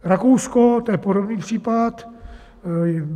Rakousko, to je podobný případ.